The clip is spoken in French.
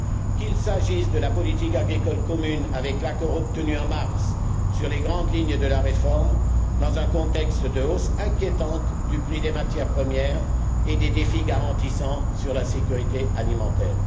qu'il s'agisse de la politique agricole commune, avec l'accord obtenu en mars sur les grandes lignes de la réforme, dans un contexte de hausse inquiétante du prix des matières premières et de défis grandissants en matière de sécurité alimentaire